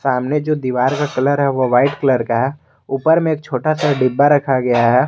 सामने जो दीवार का कलर है वह वाइट कलर का है ऊपर में छोटा सा डिब्बा रखा गया है।